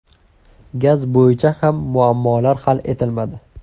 Gaz bo‘yicha ham muammolar hal etilmadi.